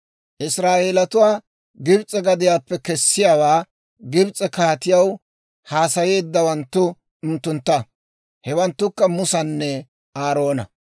Israa'eelatuwaa Gibs'e gadiyaappe kessiyaawaa Gibs'e kaatiyaw haasayeeddawanttu unttuntta. Hewanttukka Musanne Aaroona.